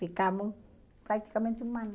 Ficamos praticamente um ano.